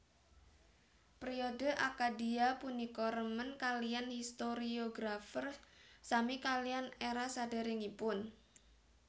Priode Akkadia punika remen kaliyan historiographers sami kaliyan era saderengipun